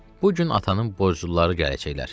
Bu gün atanın borcluları gələcəklər.